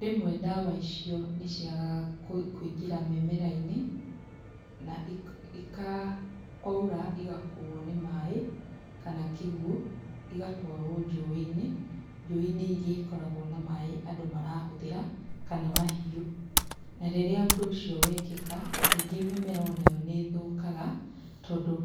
Rĩmwe ndawa icio nĩciagaga kũingĩra mĩmerainĩ na ika kwaura igakuo nĩ maĩ kana kĩguo igatwaro njũĩinĩ njũĩinĩ iria ikoragwo na maĩ andũ marahũthĩra kana mahiũ na rĩrĩa ũndũ ũcio wekĩka kaingĩ mĩmera onayo nĩithũkaga tondũ